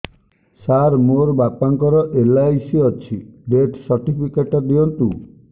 ସାର ମୋର ବାପା ଙ୍କର ଏଲ.ଆଇ.ସି ଅଛି ଡେଥ ସର୍ଟିଫିକେଟ ଦିଅନ୍ତୁ